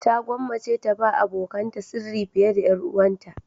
Ta gwammace ta ba abokanta sirri fiye da 'yar uwarta.